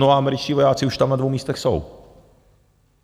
No, a američtí vojáci už tam na dvou místech jsou.